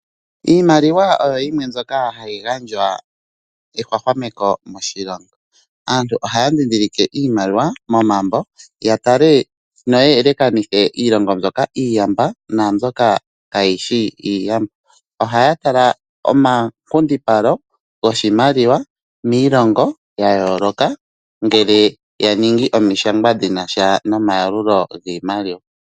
Iimaliwa oyo yimwe mbyoka hayi gandja ehwahwameko moshilongo. Aantu ohaya ndhindhilike iimaliwa momambo ya tale noya elekanithe Iilongo mbyoka iiyamba naambyoka kaayishi iiyamba ohaya tala omankundipalo goshimaliwa miilongo ya yooloka ngele ya ningi omishangwa dhina sha nomayalulo giimaliwa.